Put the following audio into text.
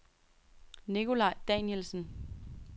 Nicolaj Danielsen